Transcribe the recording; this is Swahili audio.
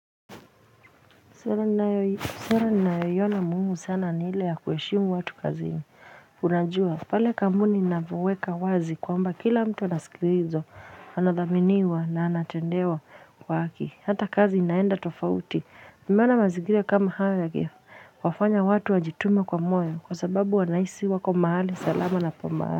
Sera ni nayo iona muhimu sana ni ile ya kuheshimu watu kazini unajua pale kampuni mnapoweka wazi kwamba kila mtu anasikilizwa anadhaminiwa na anatendewa kwa haki hata kazi inaenda tofauti nimeona mazigira kama haya yange wafanya watu wajitume kwa moyo kwa sababu wanaisi wako mahali salama na pa mahali.